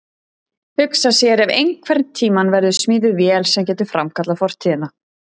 Hugsa sér ef einhvern tíma verður smíðuð vél sem getur framkallað fortíðina.